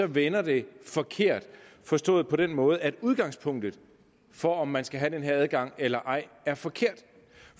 vender det forkert forstået på den måde at udgangspunktet for om man skal have den her adgang eller ej er forkert